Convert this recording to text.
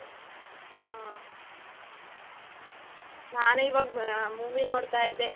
ಹಾ. ನಾನು ಈವಾಗ್ ಮಾ movie ನೋಡ್ತಾ ಇದ್ದೇ.